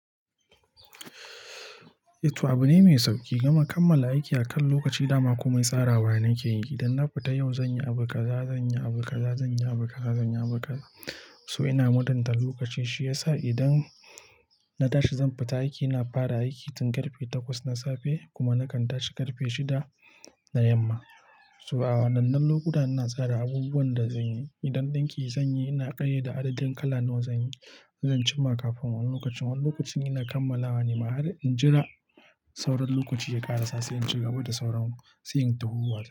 Eh, to abu ne mai sauƙi. Gama kammala aiki akan lokaci dama komai tsarawa nake yi. Dan na fita yau zan yi abu kaza, zan yi abu kaza, zan yi abu kaza, zan yi abu kaza. To ina mutanta lokaci shiyasa idan na tashi zan fita aiki ina fara aiki tun ƙarfe takwas na safe kuma na kan tashi ƙarfe shida na yamma. So a wannan lokuta ina tsara abubuwan da zan yi. Idan ɗinki zan yi ina ƙayyade adadin kala nawa zan yi. Zan cimma kafin wannan lokacin. Wannan lokacin ina kammalawa nima har in jira sauran lokaci ya ƙaraso sai in ci gaba da sauran siyin tuhuwa.